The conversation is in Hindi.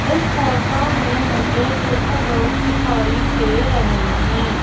इस फोटो में मुझे कुछ लोग दिखाई दे रहे है।